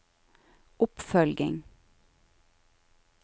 oppfølging